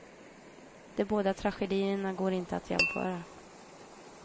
De båda tragedierna går inte att jämföra.